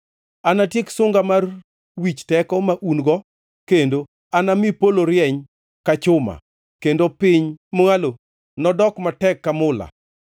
Anatiek sunga mar wich teko ma un-go, kendo anami polo rieny ka chuma, kendo piny mwalo nodog matek ka mula.